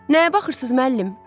Nəyə baxırsınız müəllim?